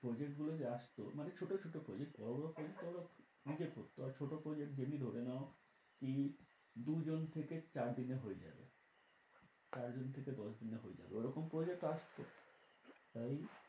Project গুলো যে আসতো। মানে ছোটো ছোটো project বড়ো বড়ো project তো ওরা নিজে করত। আর ছোটো project যেমনি ধরে নাও, কি দুজন থেকে চার দিনে হয়ে যাবে। চারজন থেকে দশ দিনে হয়ে যাবে। ওরকম project ও আসতো। তাই,